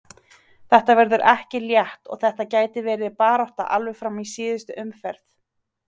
Þetta verður ekki létt og þetta gæti verið barátta alveg fram í síðustu umferð.